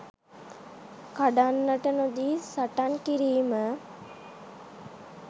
කඩන්නට නොදී සටන් කිරීම.